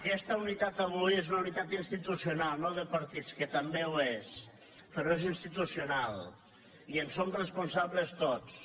aquesta unitat avui és una unitat institucional no de partits que també ho és però és institucional i en som responsables tots